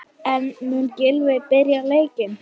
En mun Gylfi byrja leikinn?